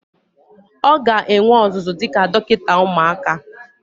Ọ ga-enwe ọzụzụ dịka dọkịta ụmụaka.